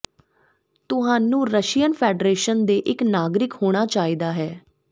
ਤੁਹਾਨੂੰ Russian Federation ਦੇ ਇੱਕ ਨਾਗਰਿਕ ਹੋਣਾ ਚਾਹੀਦਾ ਹੈ